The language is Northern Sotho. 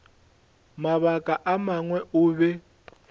mabaka a mangwe o be